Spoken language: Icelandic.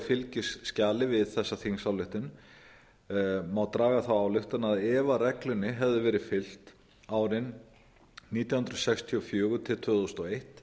fylgiskjali við þessa þingsályktun má draga þá ályktun að ef reglunni hefði verið fylgt árin nítján hundruð sextíu og fjögur til tvö þúsund og eitt